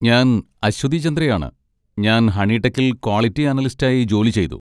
ഞാൻ അശ്വതി ചന്ദ്രയാണ്, ഞാൻ ഹണിടെക്കിൽ ക്വാളിറ്റി അനലിസ്റ്റായി ജോലി ചെയ്തു.